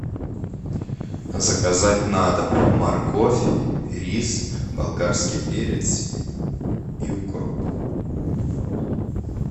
заказать на дом морковь рис болгарский перец и укроп